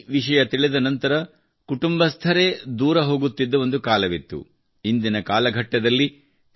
ಯ ವಿಷಯ ತಿಳಿದ ನಂತರ ಕುಟುಂಬಸ್ಥರೇ ದೂರ ಹೋಗುತ್ತಿದ್ದ ಒಂದು ಕಾಲವಿತ್ತು ಇಂದಿನ ಕಾಲಘಟ್ಟದಲ್ಲಿ ಟಿ